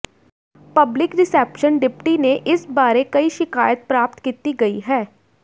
public reception deputy ਨੇ ਇਸ ਬਾਰੇ ਕਈ ਸ਼ਿਕਾਇਤ ਪ੍ਰਾਪਤ ਕੀਤੀ ਗਈ ਹੈ